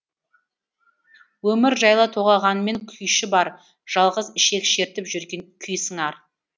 өмір жайлы толғағанмен күйші бар жалғыз ішек шертіп жүрген күй сыңар